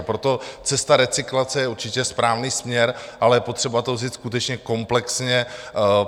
A proto cesta recyklace je určitě správný směr, ale je potřeba to vzít skutečně komplexně.